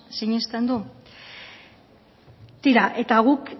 sinisten du tira eta guk